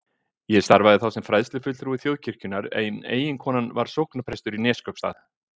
Ég starfaði þá sem fræðslufulltrúi Þjóðkirkjunnar en eiginkonan var sóknarprestur í Neskaupsstað.